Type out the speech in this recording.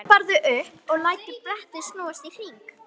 Svo hopparðu upp og lætur brettið snúast í hring.